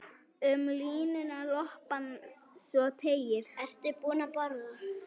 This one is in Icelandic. Um línuna lopann svo teygir.